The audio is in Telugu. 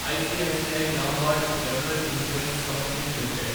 ICICI Lombard General Insurance Company limited